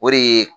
O de ye